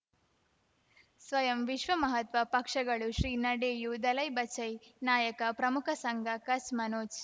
ಸ್ವಯಂ ವಿಶ್ವ ಮಹಾತ್ಮ ಪಕ್ಷಗಳು ಶ್ರೀ ನಡೆಯೂ ದಲೈ ಬಚೈ ನಾಯಕ ಪ್ರಮುಖ ಸಂಘ ಕಚ್ ಮನೋಜ್